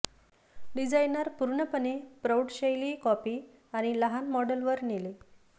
designer पूर्णपणे प्रौढ शैली कॉपी आणि लहान मॉडेल वर नेले